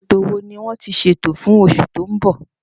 Ètò wo ni wọ́n ti ṣètò fún oṣù tó ń bọ̀?